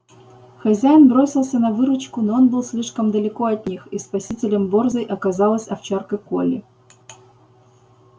хозяин бросился на выручку но он был слишком далеко от них и спасителем борзой оказалась овчарка колли